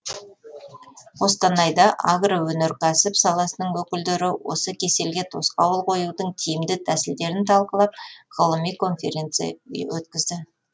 қостанайда агроөнеркәсіп саласының өкілдері осы кеселге тосқауыл қоюдың тиімді тәсілдерін талқылап ғылыми конференция өткізді